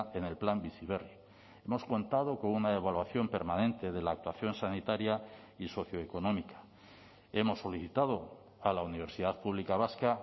en el plan bizi berri hemos contado con una evaluación permanente de la actuación sanitaria y socioeconómica hemos solicitado a la universidad pública vasca